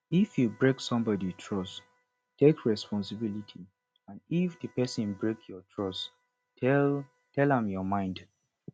if you break somebody trust take responsibility and if di person break your trust tell tell am your mind